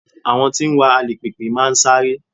Àwọn tí ń wa alùpìpì máa sáré